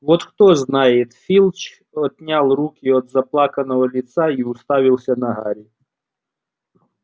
вот кто знает филч отнял руки от заплаканного лица и уставился на гарри